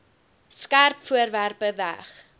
skerp voorwerpe weg